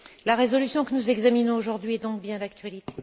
La résolution que nous examinons aujourd'hui est donc bien d'actualité.